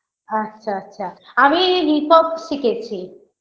আচ্ছা আচ্ছা আমি hip hop শিখেছে